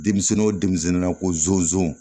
Denmisɛnnin o denmisɛnninna ko zonzon